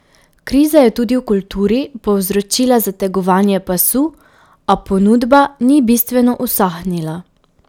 Kriza je tudi v kulturi povzročila zategovanje pasu, a ponudba ni bistveno usahnila.